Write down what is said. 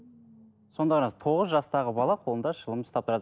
сонда қараңыз тоғыз жастағы бала қолында шылым ұстап тұрады